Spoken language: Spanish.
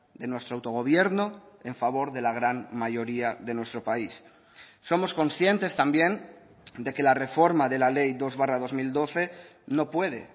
de nuestro autogobierno en favor de la gran mayoría de nuestro país somos conscientes también de que la reforma de la ley dos barra dos mil doce no puede